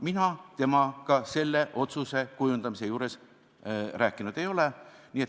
Mina temaga selle otsuse kujundamisel rääkinud ei ole.